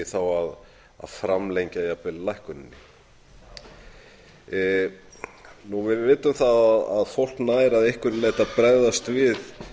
þá að framlengja jafnvel lækkunina við vitum það að fólk nær að einhverju leyti að bregðast við